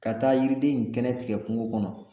Ka taa yiriden in kɛnɛ tigɛ kungo kɔnɔ.